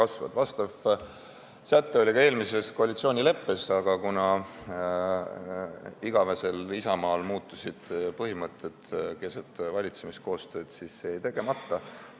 Sellekohane kokkulepe oli ka eelmises koalitsioonileppes, aga kuna igavesel Isamaal põhimõtted keset valitsemiskoostööd muutusid, jäi see teoks tegemata.